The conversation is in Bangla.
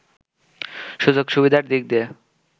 সুযোগ সুবিধার দিক দিয়ে